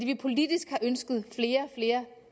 vi politisk har ønsket flere og flere